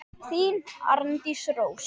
Þín, Arndís Rós.